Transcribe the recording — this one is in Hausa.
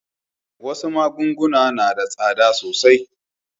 Wasu magunguna na da tsada sosai.